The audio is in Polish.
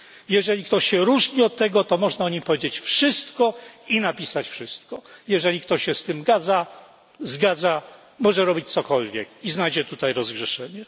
Jeżeli ktoś się od tego różni, to można o nim powiedzieć wszystko i napisać wszystko, jeżeli ktoś się z tym zgadza, może robić cokolwiek i znajdzie tutaj rozgrzeszenie.